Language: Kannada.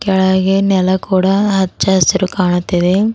ಕೆಳಗೆ ನೆಲ ಕೂಡ ಹಚ್ಚ ಹಸಿರು ಕಾಣುತ್ತಿದೆ.